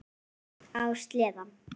Á sleða.